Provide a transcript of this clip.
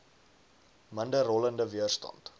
minder rollende weerstand